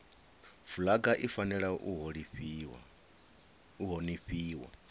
fulaga i fanela u honifhiwa